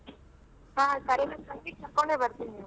ಹ ಸರಿ ನನ್ ತಂಗಿ ಕರಕೊಂಡೇ ಬರ್ತೀನಿ ಬಿಡು.